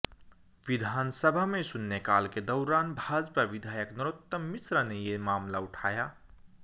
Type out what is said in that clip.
विधानसभा में शून्यकाल के दौरान भाजपा विधायक नरोत्तम मिश्रा ने ये मामला उठाया